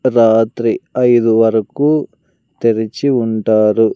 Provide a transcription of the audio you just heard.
రాత్రి ఐదు వరకు తెరిచి ఉంటారు.